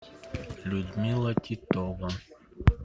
людмила титова